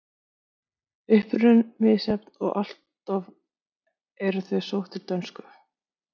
Uppruninn er misjafn og alloft eru þau sótt til dönsku.